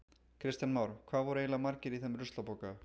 Kristján Már: Hvað voru eiginlega margir í þeim ruslapoka?